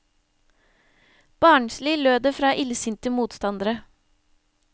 Barnslig, lød det fra illsinte motstandere.